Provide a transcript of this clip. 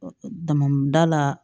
Damada la